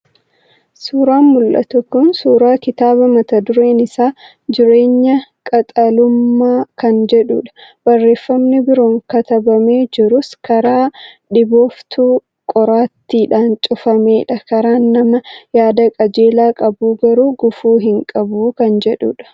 Suuraan mul'atu kun suuraa kitaaba mata dureen isaa jireenya qaxalummaa kan jedhudha. Barreeffamni biroon katabamee jirus " karaan dhibooftuu qoraattiidhaan cufamaadha karaan nama yaada qajeelaa qabuu garuu, gufuu hin qabu" kan jedhudha.